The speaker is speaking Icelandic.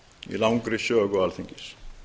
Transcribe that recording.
í langri sögu alþingis